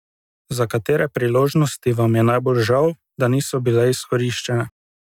Za katere priložnosti vam je najbolj žal, da niso bile izkoriščene?